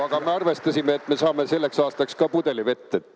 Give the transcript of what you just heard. Aga me arvestasime, et me saame selleks aastaks ka pudeli vett.